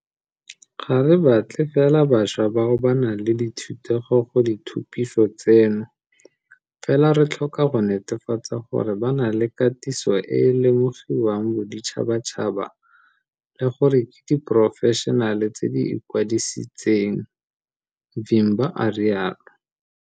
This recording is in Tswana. Ga re batle fela bašwa bao ba nang le dithutego go dithupiso tseno, fela re tlhoka go netefatsa gore ba na le katiso e e lemogiwang boditšhabatšhaba le gore ke diporofešenale tse di ikwadisitseng, Vimba a rialo.